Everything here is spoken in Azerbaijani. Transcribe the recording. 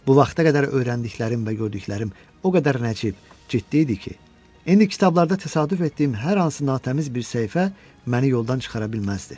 Bu vaxta qədər öyrəndiklərim və gördüklərim o qədər nəcib, ciddi idi ki, indi kitablarda təsadüf etdiyim hər hansı natəmiz bir səhifə məni yoldan çıxara bilməzdi.